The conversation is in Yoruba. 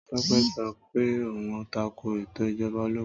Tọ́pẹ́ sọ pé òhun tako ètò Ìjọba ológun.